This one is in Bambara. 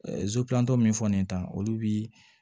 min fɔ nin ta olu bi